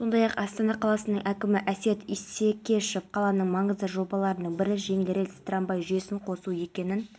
нұрсұлтан назарбаев кездесуде ішкі істер министрлігі арнайы мақсаттағы бөлімшесінің инспекторы дүйсеновті дәрежелі айбын орденімен павлодар облысы